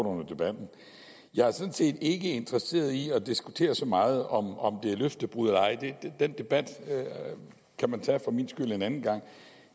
under debatten jeg er sådan set ikke interesseret i at diskutere så meget om om det er løftebrud eller ej den debat kan man for min skyld tage en anden gang